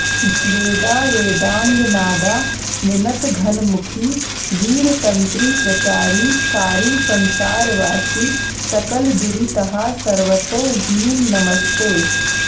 वेदा वेदाङ्गनादा विनतघनमुखी वीरतन्त्रीप्रचारी सारी संसारवासी सकलदुरितहा सर्वतो ह्रीं नमस्ते